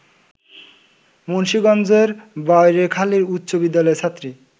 মুন্সীগঞ্জের বাড়ৈখালী উচ্চ বিদ্যালয়ের ছাত্রী